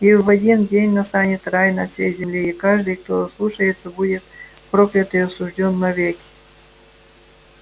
и в один день настанет рай на всей земле и каждый кто ослушается будет проклят и осуждён навеки